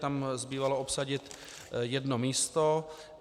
Tam zbývalo obsadit jedno místo.